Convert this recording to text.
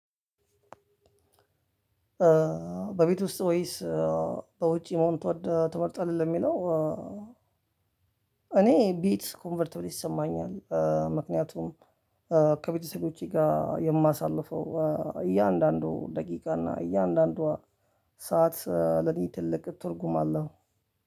በቤት ውስጥ ወይስ በውጪ መሆን ትመርጣለህ ለሚለው? እኔ ቤት ኮንፈርት ይሰማኛል። ምክንያቱም ከቤተሰቦቼ ጋር የማሳልፈው እያንዳንዱ ደቂቃ እና እያንዳንዷ ሰዓት ለኔ ትልቅ ትርጉም አለው።